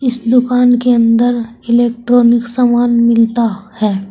इस दुकान के अंदर इलेक्ट्रॉनिक समान मिलता है।